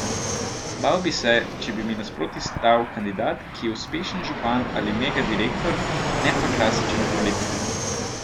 Bal bi se, če bi mi nasproti stal kandidat, ki je uspešen župan ali mega direktor, ne pa klasičen politik.